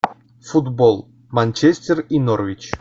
футбол манчестер и норвич